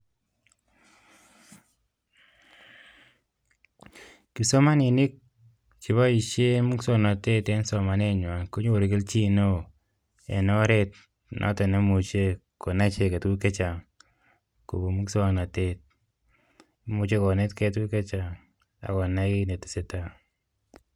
Kipsomaninik cheboisien muswoknotet eng somanenywa konyoru keljin neo eng oret noto nemuche konai icheget tuguk chechang kobun muswoknotet imuchei konetkei tuguk chechang ak konai netesetai.